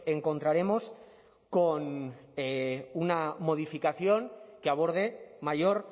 encontraremos con una modificación que aborde mayor